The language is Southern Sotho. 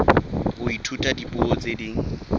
ho ithuta dipuo tse ding